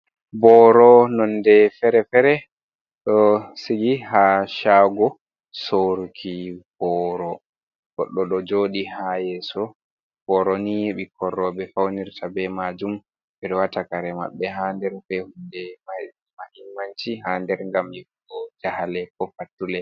Boro nonde fere-fere ɗo sigi ha shago sorruki boro, goddo ɗo joodi ha yeso ɓoroni, ɓikkoi rewɓe faunirta be majuum, ɓedo watakare maɓɓe ha nder be kuuje mahmmanti ha nder gam yahugo jahale ko fattule.